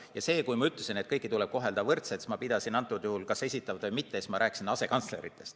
Ja kui ma ütlesin, et kõiki tuleb kohelda võrdselt, siis ma pidasin silmas, et kas esitavad või mitte, asekantslereid.